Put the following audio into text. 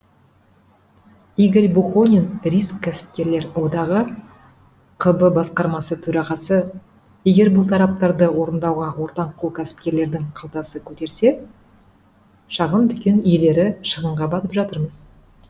игорь бухонин риск кәсіпкерлер одағы қб басқармасы төрағасы егер бұл талаптарды орындауға ортаңқол кәсіпкерлердің қалтасы көтерсе шағын дүкен иелері шығынға батып жатырмыз